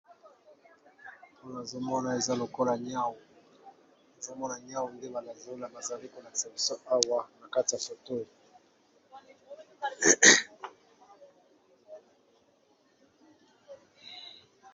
Awa nazo mona eza lokola niau, nazo mona niau ndenge bazo lakisa biso Awa na kati ya foto.